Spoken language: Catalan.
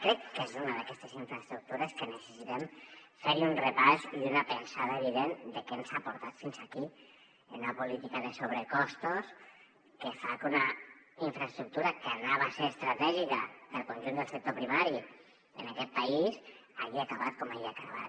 crec que és una d’aquestes infraestructures que necessitem fer hi un repàs i una pensada evident de què ens ha portat fins aquí a una política de sobrecostos que fa que una infraestructura que havia de ser estratègica per al conjunt del sector primari en aquest país hagi acabat com ha acabat